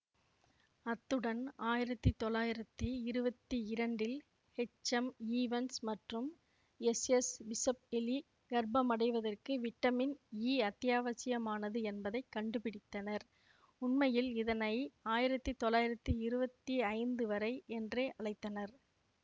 அத்துடன் ஆயிரத்தி தொள்ளாயிரத்தி இருவத்தி இரண்டில் ஹெச்எம்ஈவன்ஸ் மற்றும் எஸ்எஸ்பிஷப் எலி கர்ப்பமடைவதற்கு விட்டமின் இ அத்தியாவசியமானது என்பதை கண்டுபிடித்தனர் உண்மையில் இதனை ஆயிரத்தி தொள்ளாயிரத்தி இருவத்தி ஐந்து வரை என்றே அழைத்தனர்